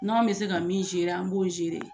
N'anw bɛ se ka min an b'o